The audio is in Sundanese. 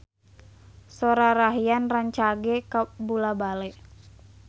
Sora Rayhan rancage kabula-bale